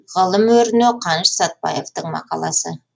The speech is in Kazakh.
ғылым өріне қаныш сәтбаевтың мақаласы